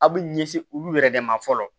Aw bɛ ɲɛsin olu yɛrɛ de ma fɔlɔ